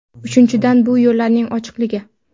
Uchinchidan, bu yo‘llarning ochiqligi.